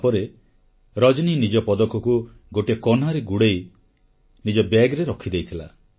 ତାପରେ ରଜନୀ ନିଜ ପଦକକୁ ଗୋଟିଏ କନାରେ ଗୁଡ଼ାଇ ନିଜ ବ୍ୟାଗରେ ରଖିଦେଇଥିଲା